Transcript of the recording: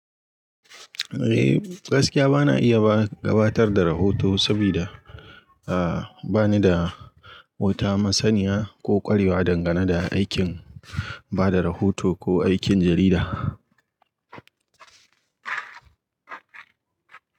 Eh gaskiya bana iya gabatar da rahoto sabida bani da wuta, masaniya ko ƙwarewa dangane da aikin bada rahoto ko aikin jarida.